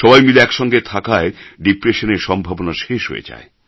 সবাই মিলে এক সঙ্গে থাকায় ডিপ্রেশন এর সম্ভাবনা শেষ হয়ে যায়